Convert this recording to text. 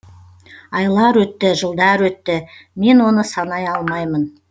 айлар өтті жылдар өтті мен оны санай алмаймын